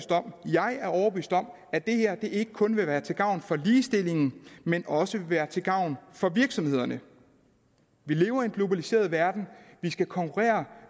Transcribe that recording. jeg er overbevist om at det her ikke kun vil være til gavn for ligestillingen men også vil være til gavn for virksomhederne vi lever i en globaliseret verden vi skal konkurrere